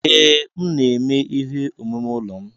Ee, m na-eme ihe omume ụlọ m.